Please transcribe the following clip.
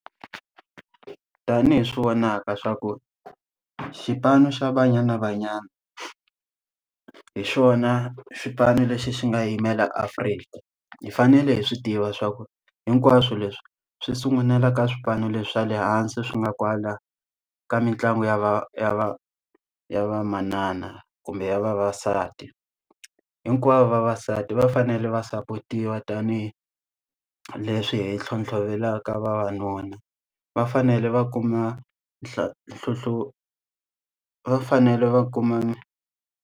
Tanihi swi vonaka swa ku xipano xa Banyana Banyana, hi xona xipano lexi xi nga yimela Afrika. Hi fanele hi swi tiva swa ku hinkwaswo leswi swi sungulela ka swipano leswi swa le hansi swi nga kwala ka mitlangu ya va ya va ya va manana kumbe ya vavasati. Hinkwavo vavasati va fanele va sapotiwa tanihileswi hi ntlhontlhovelaka vavanuna. Va fanele va kuma tlho tlhotlho va fanele va kuma.